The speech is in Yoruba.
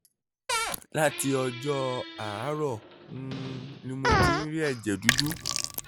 láti ọjọ́ àárọ̀ um ni mo ti ń rí ẹ̀jẹ̀ dúdú